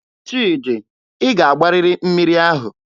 Chidi, ị ga-agbarịrị mmiri ahụ!